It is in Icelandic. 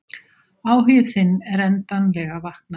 Áhugi þinn er endanlega vaknaður.